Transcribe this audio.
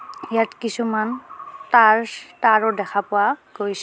ইয়াত কিছুমান তাৰ্চ তাৰো দেখা পোৱা গৈছ--